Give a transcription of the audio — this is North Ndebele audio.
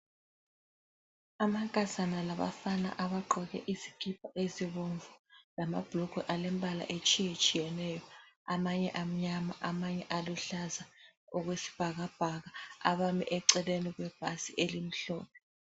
Amankazana labafana abagqoke izikipa ezibomvu lamabhulugwe alembala etshiyetshiyeneyo ,amanye amnyama amanye aluhlaza okwesibhakabhaka abame eceleni kwebhasi elimhlophe